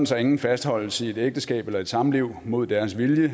så ingen fastholdes i et ægteskab eller et samliv mod deres vilje